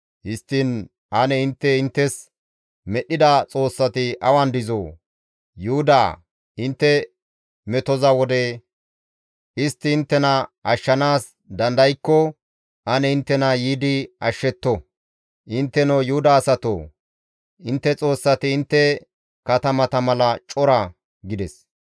Histtiin ane intte inttes medhdhida xoossati awan dizoo? Yuhudaa, intte metotiza wode istti inttena ashshanaas dandaykko ane inttena yiidi ashshetto! Intteno Yuhuda asatoo! Intte xoossati intte katamata mala cora» gides.